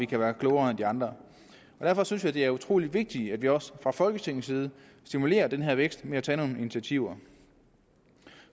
kan være klogere end de andre derfor synes jeg det er utrolig vigtigt at vi også fra folketingets side stimulerer den her vækst ved at tage nogle initiativer